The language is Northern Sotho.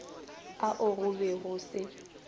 ao go be go se